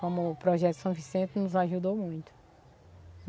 Como o Projeto São Vicente nos ajudou muito.